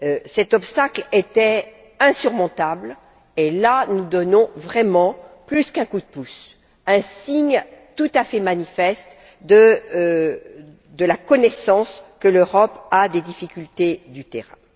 Cet obstacle était insurmontable et, là, nous donnons, vraiment, plus qu'un coup de pouce, nous donnons un signe tout à fait manifeste de la connaissance que l'Europe a des difficultés du terrain.